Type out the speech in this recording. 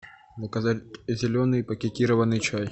заказать зеленый пакетированный чай